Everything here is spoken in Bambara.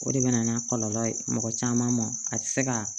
O de bɛ na n'a kɔlɔlɔ ye mɔgɔ caman mɔn a tɛ se ka